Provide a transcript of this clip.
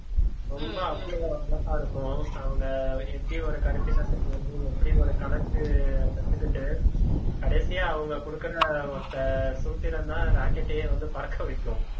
ரொம்ப அவ்ளோ அழகா இருக்கும் அவங்க எப்படி ஒரு கருப்பினத்தை வந்து எப்படி ஒரு கணக்கு கத்துக்கிட்டு கடைசியா அவங்க கொடுக்கிற ஒத்த சூத்திரம்தான் rocket ஐயே வந்து பறக்க வைக்கும்